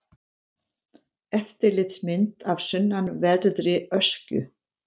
Yfirlitsmynd af sunnanverðri Öskju.